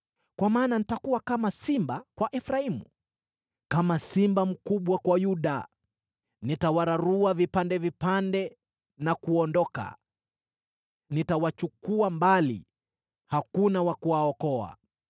Kwa maana nitakuwa kama simba kwa Efraimu, kama simba mkubwa kwa Yuda. Nitawararua vipande vipande na kuondoka; nitawachukua mbali, na hakuna wa kuwaokoa.